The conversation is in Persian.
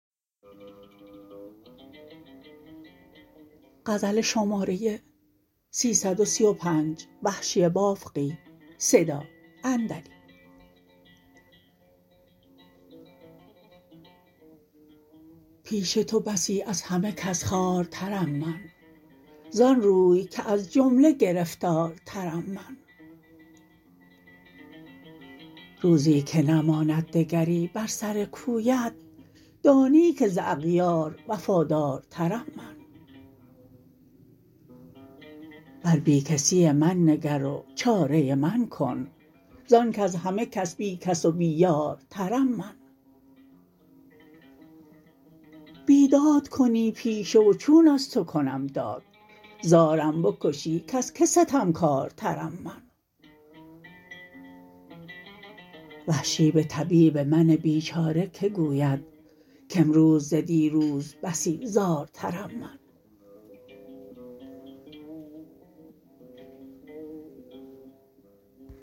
پیش تو بسی از همه کس خوارترم من زان روی که از جمله گرفتارترم من روزی که نماند دگری بر سر کویت دانی که ز اغیار وفادارترم من بر بی کسی من نگر و چاره من کن زان کز همه کس بی کس و بی یارترم من بیداد کنی پیشه و چون از تو کنم داد زارم بکشی کز که ستمکارترم من وحشی به طبیب من بیچاره که گوید کامروز ز دیروز بسی زارترم من